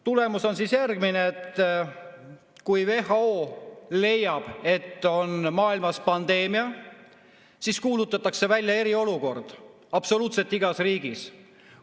Tulemus on järgmine: kui WHO leiab, et maailmas on pandeemia, siis kuulutatakse välja eriolukord absoluutselt igas riigis.